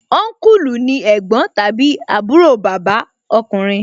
Ọnkulu ni ẹ̀gbọ́n tàbí àbúrò bàbá ọkùnrin